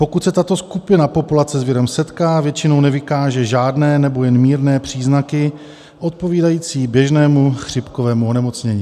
Pokud se tato skupina populace s virem setká, většinou nevykáže žádné nebo jen mírné příznaky odpovídající běžnému chřipkovému onemocnění.